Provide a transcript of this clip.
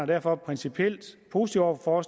derfor principielt positive over for